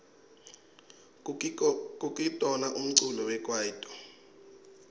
kukitona umculo wekwaito